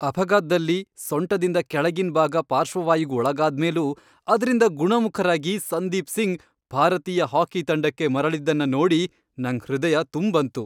ಅಪಘಾತ್ದಲ್ಲಿ ಸೊಂಟದಿಂದ ಕೆಳಗಿನ್ ಭಾಗ ಪಾರ್ಶ್ವವಾಯುಗ್ ಒಳಗಾದ್ಮೇಲೂ ಅದ್ರಿಂದ ಗುಣಮುಖರಾಗಿ ಸಂದೀಪ್ ಸಿಂಗ್ ಭಾರತೀಯ ಹಾಕಿ ತಂಡಕ್ಕೆ ಮರಳಿದ್ದನ್ನ ನೋಡಿ ನಂಗ್ ಹೃದಯ ತುಂಬ್ ಬಂತು.